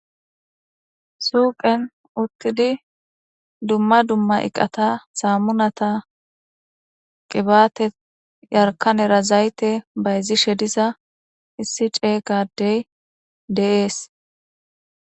Suuqen uttidi dumma dumma iqata saammunata qibaate yarkkanera zayte bayzishe diza issi ceega addey de7ees.